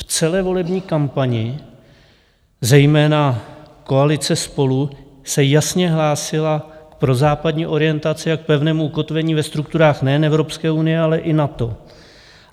V celé volební kampani zejména koalice Spolu se jasně hlásila k prozápadní orientaci a k pevnému ukotvení ve strukturách nejen Evropské unie, ale i NATO.